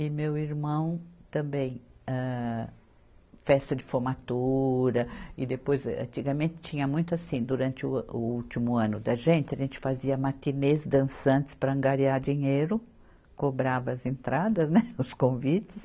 E meu irmão, também, âh, festa de formatura, e depois, antigamente tinha muito assim, durante o a, o último ano da gente, a gente fazia matinês dançantes para angariar dinheiro, cobrava as entradas, né, os convites,